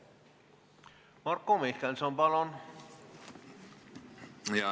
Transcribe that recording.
Marko Mihkelson, palun!